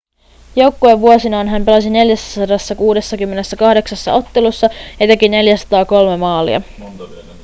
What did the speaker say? joukkuevuosinaan hän pelasi 468 ottelussa ja teki 403 maalia